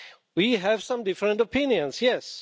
We have some different opinions, yes.